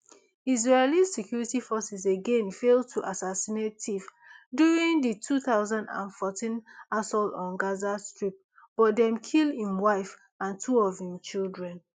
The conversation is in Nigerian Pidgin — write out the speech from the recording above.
israeli security forces again fail to assassinate deif during di two thousand and fourteen assault on gaza strip but dem kill im wife and two of im children